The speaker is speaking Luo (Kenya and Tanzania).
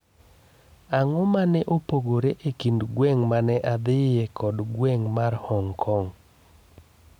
ang'o ma ne opogore e kind gweng' ma ne adhiye kod gweng ' mar hong kong